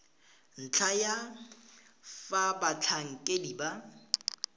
ntlha ya fa batlhankedi ba